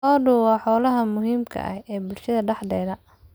Lo'du waa xoolaha muhiimka ah ee bulshada dhexdeeda.